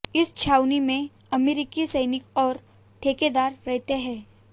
इस छावनी में अमरीकी सैनिक और ठेकेदार रहते हैं